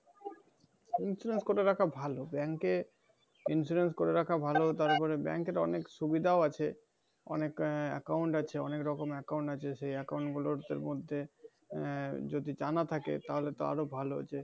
insurance করে রাখা ভালো bank এ insurance করে রাখা ভালো। তারপরে bank এর অনেক সুবিধাও আছে। অনেক আহ account আছে অনেক রকম account আছে সেই account গুলোর মধ্যে আহ যদি জানা থাকে তাহলে তো আরও ভালো। যে,